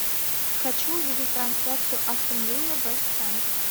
хочу увидеть трансляцию астон вилла вест хэм